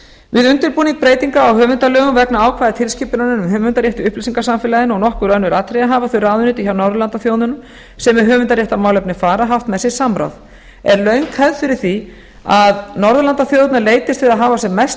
við undirbúning breytinganna á höfundalögum vegna ákvæða tilskipunarinnar um höfundarétt í upplýsingasamfélaginu og nokkur önnur atriði hafa þau ráðuneyti hjá norðurlandaþjóðunum sem með höfundaréttarmálefni fara haft með sér samráð er löng hefð fyrir því að norðurlandaþjóðirnar leitist við að hafa sem mest